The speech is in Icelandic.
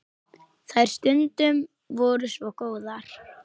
Þær stundir voru svo góðar.